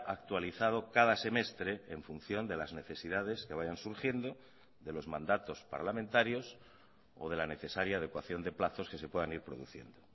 actualizado cada semestre en función de las necesidades que vayan surgiendo de los mandatos parlamentarios o de la necesaria adecuación de plazos que se puedan ir produciendo